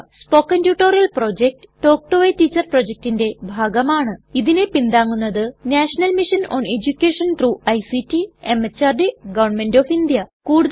spoken tutorial project talk to a teacher പ്രൊജക്റ്റിന്റെ ഭാഗമാണ് ഇതിനെ പിന്താങ്ങുന്നത് national mission on education through ICT MHRD government of India